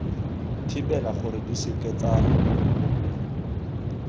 thibela gore di seke tsa